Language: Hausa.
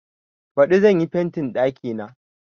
Baɗi zan yi fentin ɗakina.